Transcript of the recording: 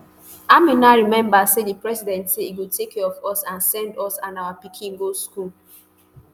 amina remember say [di president say] e go take care of us and send us and our pikin go school